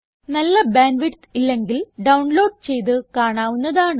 നല്ല bandwidth ഇല്ലെങ്കിൽ download ചെയ്ത് കാണാവുന്നതാണ്